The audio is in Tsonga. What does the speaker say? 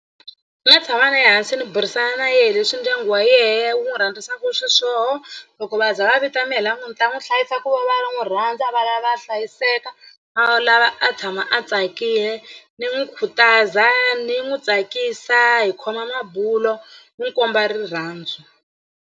Ni nga tshama na yehe hansi ni burisana na yehe leswi ndyangu wa yena wu n'wi rhandzisa ku xiswona loko va za va vita mehe la ku ni ta n'wi hlayisa i ku va va n'wi rhandza va lava a hlayiseka a lava a tshama a tsakile ni n'wi khutaza ni n'wi tsakisa hi khoma mabulo n'wi komba rirhandzu.